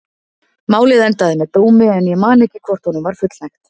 Málið endaði með dómi en ég man ekki hvort honum var fullnægt.